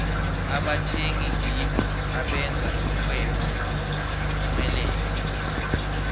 abathengi ngibo abenza ixhwebo liphumelele